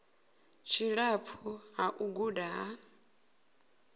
tshilapfu ha u guda ha